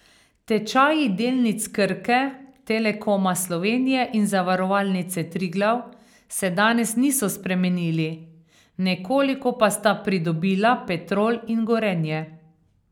Tečaji delnic Krke, Telekoma Slovenije in Zavarovalnice Triglav se danes niso spremenili, nekoliko pa sta pridobila Petrol in Gorenje.